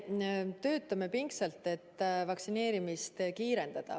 Me töötame pingsalt, et vaktsineerimist kiirendada.